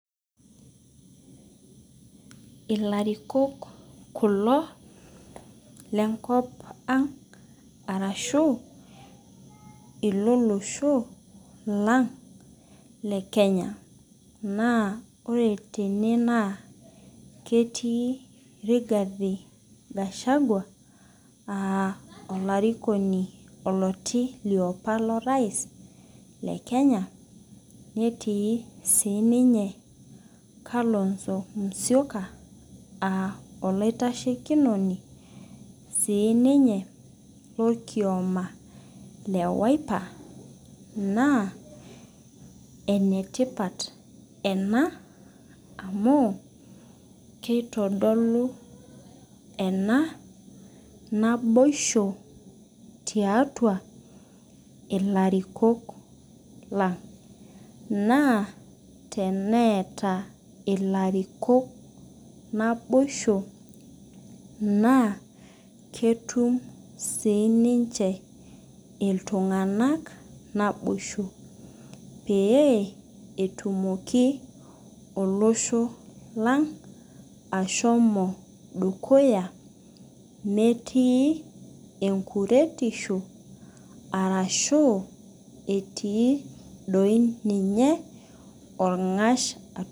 Ilarikok kuko le nkop ang' arshu le losho lang' le Kenya. Naa ore tene naa ketii Rigathi Gashagua aa olarikon lioti apaa loo rais le Kenya neeti sii ninye Kalonzo Musyoka aa olaiteshikinoni sii ninye lorkioma le wildlife naa enetipat ena amuu keitodulu enaa naboisho tiatua ilarikok lang'. Naa teneeta ilarikok naboisho naa ketum sii ninche iltung'anak naboisho pee etumoki olosho lang' ashomo dukuya meetu enkuretisho arashu etii doii ninye orng'ash.